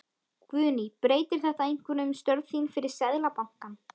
Guðný: Breytir þetta einhverju um störf þín fyrir Seðlabankann?